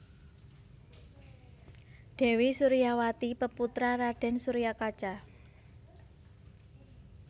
Dèwi Suryawati peputra Raden Suryakaca